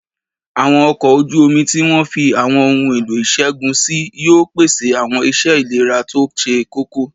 Àwọn ọkọ̀ ojú omi tí wọ́n fi àwọn ohun èlò ìṣègùn sí yóò pèsè àwọn iṣẹ́ ìlera tó ṣe kókó